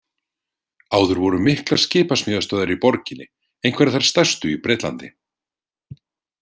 Áður voru miklar skipasmíðastöðvar í borginni, einhverjar þær stærstu í Bretlandi.